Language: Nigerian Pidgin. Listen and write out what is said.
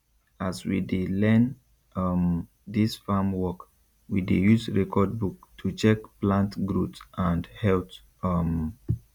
as we dey learn um dis farm work we dey use record book to check plant growth and health um